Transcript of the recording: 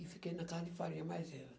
E fiquei na casa de farinha mais vezes.